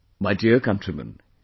My dear countrymen,